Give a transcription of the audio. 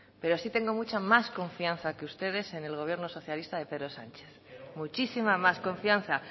pero sí tengo mucha más confianza que ustedes en el gobierno socialista de pedro sánchez muchísima más confianza